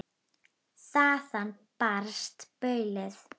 Þaðan barst baulið.